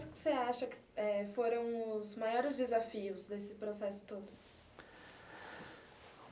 Quais você acha que eh foram os maiores desafios desse processo todo?